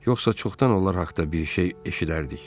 Yoxsa çoxdan onlar haqda bir şey eşidərdik.